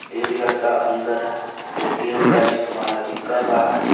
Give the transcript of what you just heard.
एक लड़का अंदर ए _टी_एम का इस्तेमाल अभी कर रहा है।